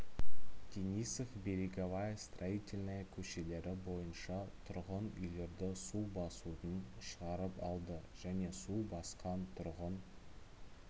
денисов береговая строительная көшелері бойынша тұрғын үйлерді су басудан шығарып алды және су басқан тұрғын